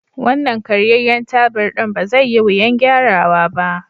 Wannan karyayyen tabur ɗin ba zai yi wuyan gyara wa ba.